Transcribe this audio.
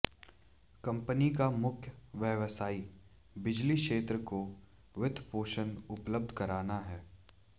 company का मुख्य व्यवसाय बिजली क्षेत्र को वित्तपोषण उपलब्ध कराना है